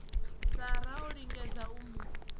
sara o lingedza u mu